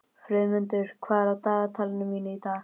Friðmundur, hvað er á dagatalinu mínu í dag?